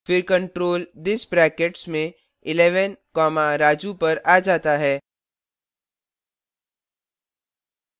फिर control this brackets में 11 comma raju पर आ जाता है